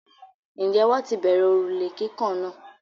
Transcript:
Ǹjẹ́ wọ́n ti bẹ̀rẹ òrùlé kíkàn náà?